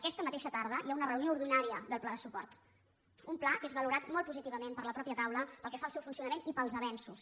aquesta mateixa tarda hi ha una reunió ordinària del pla de suport un pla que és valorat molt positivament per la mateixa tau·la pel que fa al seu funcionament i pels avenços